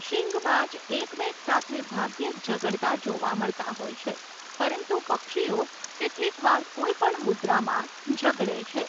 શીંગબાજ એકમેક સાથે ભાગ્યે જ ઝઘડતા જોવા મળતા હોય છે પરંતુ પક્ષીઓ કેટલીકવાર કોઈ પણ મુદ્રામાં ઝઘડે છે.